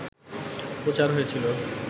প্রচার হয়েছিল